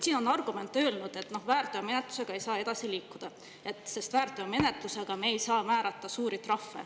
Siin on öeldud argumendina, et väärteomenetlusega ei saa edasi liikuda, sest väärteomenetluses me ei saa määrata suuri trahve.